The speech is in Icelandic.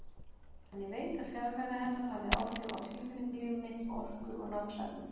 En ég veit að fjarvera hennar hafði áhrif á tilfinningalíf mitt, orku og námshæfni.